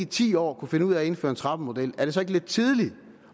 ti år kunne finde ud af at indføre en trappemodel er det så ikke lidt tidligt